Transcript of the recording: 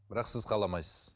бірақ сіз қаламайсыз